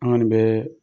An kɔni bɛɛ